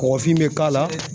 Kɔgɔfin bɛ k'a la.